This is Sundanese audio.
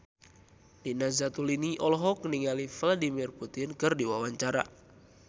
Nina Zatulini olohok ningali Vladimir Putin keur diwawancara